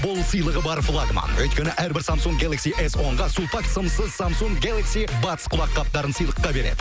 бұл сыйлығы бар влагман өйткені әрбір самсунг гелакси эс онға сулпак сымсыз самсунг гелакси батс құлаққаптарын сыйлыққа береді